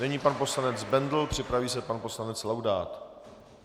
Nyní pan poslanec Bendl, připraví se pan poslanec Laudát.